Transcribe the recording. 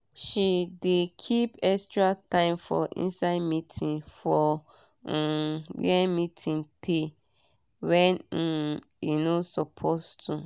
she dey keep extra time for inside meeting for um wia meeting teyy wen um e no suppose to